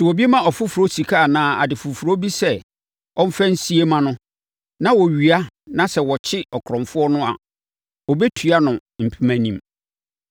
“Sɛ obi ma ɔfoforɔ sika anaa ade foforɔ bi sɛ ɔmfa nsie ma no na wɔwia na sɛ wɔkyere ɔkorɔmfoɔ no a, ɔbɛtua no mpemanim.